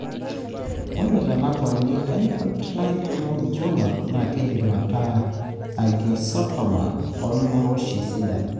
ore telakuani infantile hemangioma na kindim ataa angiosarcoma olmorioshi sidan